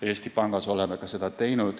Eesti Pangas oleme ka seda teinud.